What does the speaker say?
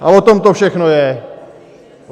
A o tom to všechno je.